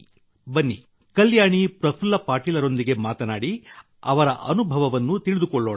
ಬನ್ನಿ ಕಲ್ಯಾಣಿ ಪ್ರಫುಲ್ಲ ಪಾಟೀಲರೊಂದಿಗೆ ಮಾತನಾಡಿ ಅವರ ಅನುಭವವನ್ನು ತಿಳಿದುಕೊಳ್ಳೋಣ